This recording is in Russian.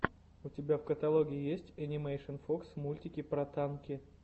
у тебя в каталоге есть энимэйшн фокс мультики про танки